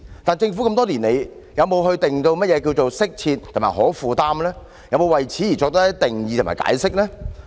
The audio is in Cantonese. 但是，多年以來，政府有否為"適切"及"可負擔"作任何定義及解釋呢？